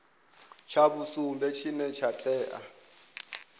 tsha vhusumbe tshine tsha tea